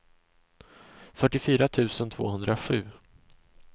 fyrtiofyra tusen tvåhundrasju